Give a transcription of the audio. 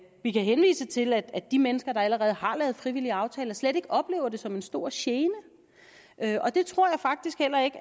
vi kan henvise til at de mennesker der allerede har lavet frivillige aftaler slet ikke oplever det som en stor gene og det tror jeg faktisk heller ikke